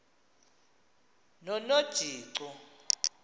nonojico